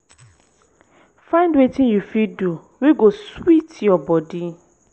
find wetin yu fit do wey go sweet yur bodi.